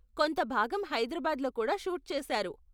కొంత భాగం హైదరాబాద్లో కూడా షూట్ చేసారు.